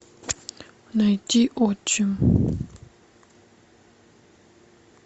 найти отчим